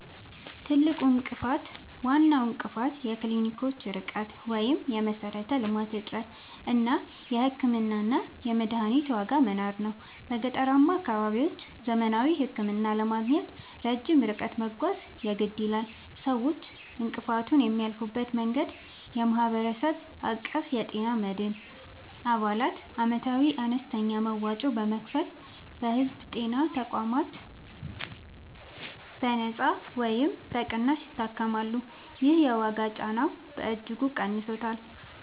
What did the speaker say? ትልቁ እንቅፋት፦ ዋናው እንቅፋት የክሊኒኮች ርቀት (የመሠረተ-ልማት እጥረት) እና የሕክምናና የመድኃኒት ዋጋ መናር ነው። በገጠራማ አካባቢዎች ዘመናዊ ሕክምና ለማግኘት ረጅም ርቀት መጓዝ የግድ ይላል። ሰዎች እንቅፋቱን የሚያልፉበት መንገድ፦ የማህበረሰብ አቀፍ የጤና መድን፦ አባላት ዓመታዊ አነስተኛ መዋጮ በመክፈል በሕዝብ ጤና ተቋማት በነጻ ወይም በቅናሽ ይታከማሉ። ይህ የዋጋ ጫናውን በእጅጉ ቀንሶታል።